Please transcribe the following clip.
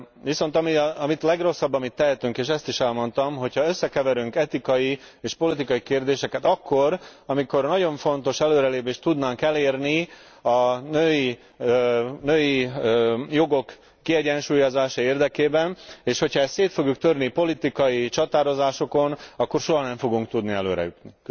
Viszont a legrosszabb, amit tehetünk, és ezt is elmondtam, hogyha összekeverünk etikai és politikai kérdéseket akkor, amikor nagyon fontos előrelépést tudnánk elérni a női jogok kiegyensúlyozása érdekében, és ha ezt szét fogjuk törni politikai csatározásokon, akkor soha nem fogunk tudni előre jutni.